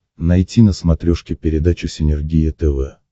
найти на смотрешке передачу синергия тв